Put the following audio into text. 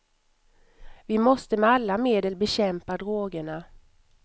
Vi måste med alla medel bekämpa drogerna.